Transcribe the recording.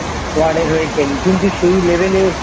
Ward এর হয়ে খেলি কিন্তু সেই Level এ